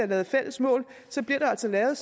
lavet fælles mål bliver der altså lavet